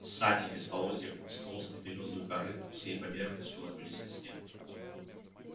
сани без полозьев из толстой берёзовой коры всей поверхностью ложились на снег